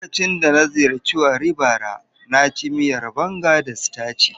Lokacin da na ziyarci Warri bara, na ci miya na banga da sitaci.